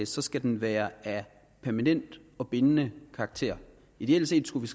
så skal den være af permanent og bindende karakter ideelt set skulle vi